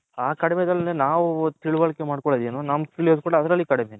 ಆ ಕಡಿಮೆದಲ್ಲೇ ನಾವು ತಿಳುವಳಿಕೆ ಮಡ್ಕೊನ್ನಾದ್ ಏನು ನಮ್ಮ ಕಡಿಮೆ.